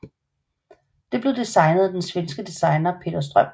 Det blev designet af den svenske designer Peter Ström